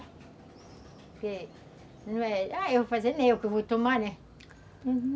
Ah, eu vou fazer, não sou eu quem vai tomar, né, Uhum.